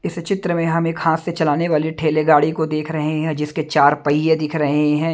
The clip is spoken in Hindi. इस चित्र में हम एक हाथ से चलाने वाले ठेले गाड़ी को देख रहे हैं जिसके चार पहिये दिख रहे हैं।